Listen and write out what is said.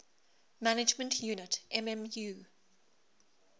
management unit mmu